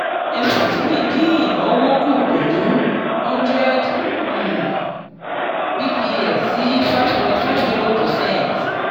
eswatini dín ìnáwó kù pẹ̀lú hundred um bps sí five point five zero percent